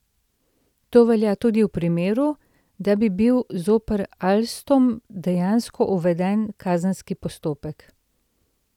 To velja tudi v primeru, da bi bil zoper Alstom dejansko uveden kazenski postopek.